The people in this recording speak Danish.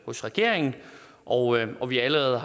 hos regeringen og og vi har allerede